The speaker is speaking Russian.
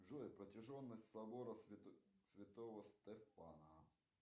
джой протяженность собора святого стефана